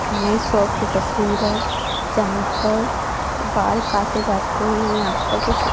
नए शॉप की तस्वीर है यहां पर बाल काटे जाते हैं यहां पर कुछ--